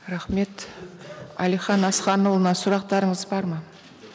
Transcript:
рахмет әлихан асқанұлына сұрақтарыңыз бар ма